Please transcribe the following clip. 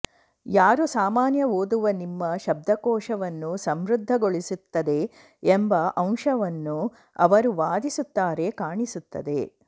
ಯಾರೂ ಸಾಮಾನ್ಯ ಓದುವ ನಿಮ್ಮ ಶಬ್ದಕೋಶವನ್ನು ಸಮೃದ್ಧಗೊಳಿಸುತ್ತದೆ ಎಂಬ ಅಂಶವನ್ನು ಅವರು ವಾದಿಸುತ್ತಾರೆ ಕಾಣಿಸುತ್ತದೆ